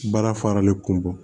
Baara faralen kun bɔ